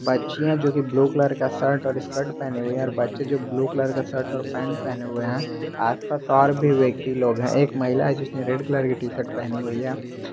बच्चियां जोकि blue colour का शर्ट और स्कर्ट पहनी हुई है और बच्चे जो ब्ल्यू कलर का शर्ट और पैंट पहने हुए है आस पास और भी व्यक्ति लोग है एक महिला है जिसने रेड कलर की टी शर्ट पहनी हुई है।